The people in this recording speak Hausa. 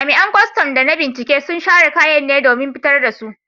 Jami’an kwastam da na binciken sun share kayan ne domin fitar da su.